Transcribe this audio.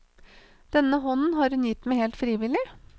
Denne hånden har hun gitt meg helt frivillig.